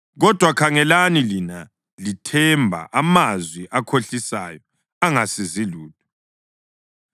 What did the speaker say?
Kodwa khangelani, lina lithemba amazwi akhohlisayo angasizi lutho.